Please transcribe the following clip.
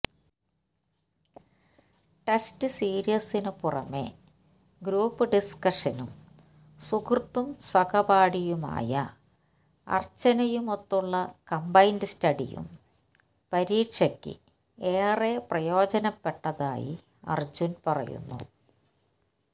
test സീരീസിന് പുറമേ group ഡിസ്കഷനും സുഹൃത്തും സഹപാഠിയുമായ അര്ച്ചനയുമൊത്തുള്ള കംബൈന്ഡ് സ്റ്റഡിയും പരീക്ഷയ്ക്ക് ഏറെ പ്രയോജനപ്പെട്ടതായി അര്ജുന് പറയുന്നു